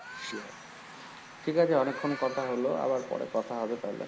ঠিক আছে অনেকক্ষন কথা হল, আবার পরে কথা হবে তাহলে।